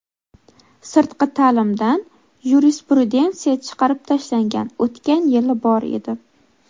sirtqi ta’limdan yurisprudensiya chiqarib tashlangan (o‘tgan yili bor edi).